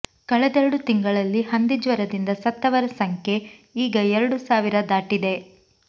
ಕಳೆದೆರಡು ತಿಂಗಳಲ್ಲಿ ಹಂದಿಜ್ವರದಿಂದ ಸತ್ತವರ ಸಂಖ್ಯೆ ಈಗ ಎರಡು ಸಾವಿರ ದಾಟಿದೆ